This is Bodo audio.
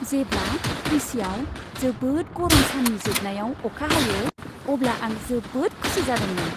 जेब्ला त्रिचिआव जोबोद गरम साननि जोबनायाव अखा हायो अब्ला आं जोबोद खुसि जादोंमोन।